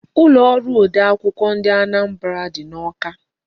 Ulo oru ode akwukwo ndị Anambra dị n'Awka.